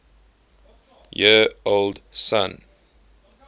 year old son